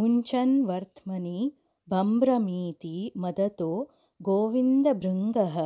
मुञ्चन्वर्त्मनि बम्भ्रमीति मदतो गोविन्दभृङ्गः